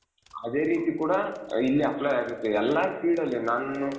ಅದೇ ರೀತಿ ಕೂಡ ಇಲ್ಲಿ apply ಆಗುತ್ತೆ ಎಲ್ಲಾ field ಅಲ್ಲೂ ನಾನು,